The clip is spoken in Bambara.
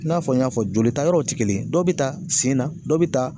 I n'a fɔ n y'a fɔ joli ta yɔrɔ tɛ kelen ye, dɔ bi taa sen na, dɔ bi ta